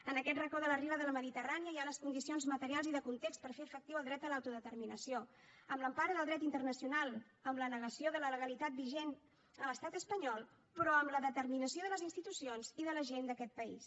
en aquest racó de la riba de la mediterrània hi ha les condicions materials i de context per fer efectiu el dret a l’autodeterminació amb l’empara del dret internacional amb la negació de la legalitat vigent a l’estat espanyol però amb la determinació de les institucions i de la gent d’aquest país